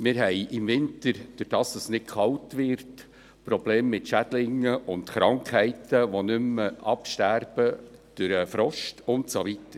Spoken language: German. Wir haben im Winter Probleme mit Schädlingen und Krankheiten, weil es nicht kalt wird und die Erreger nicht mehr durch den Frost absterben.